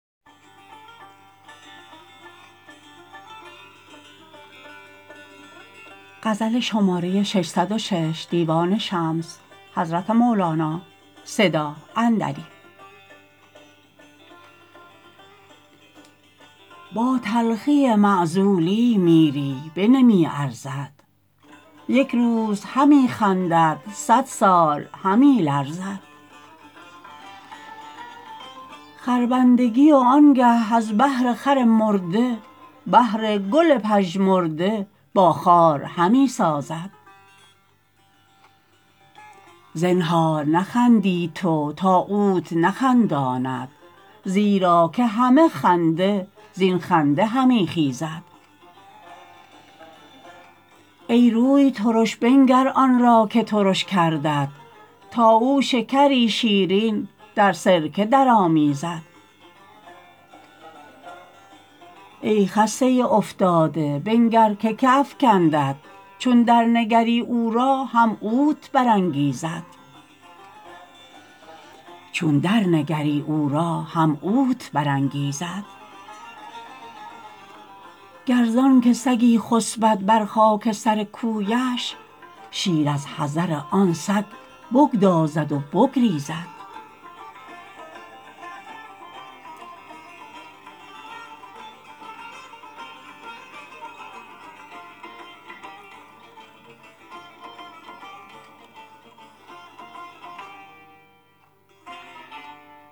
با تلخی معزولی میری بنمی ارزد یک روز همی خندد صد سال همی لرزد خربندگی و آنگه از بهر خر مرده بهر گل پژمرده با خار همی سازد زنهار نخندی تو تا اوت نخنداند زیرا که همه خنده زین خنده همی خیزد ای روی ترش بنگر آن را که ترش کردت تا او شکری شیرین در سرکه درآمیزد ای خسته افتاده بنگر که که افکندت چون درنگری او را هم اوت برانگیزد گر زانک سگی خسبد بر خاک سر کویش شیر از حذر آن سگ بگدازد و بگریزد